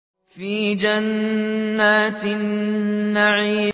فِي جَنَّاتِ النَّعِيمِ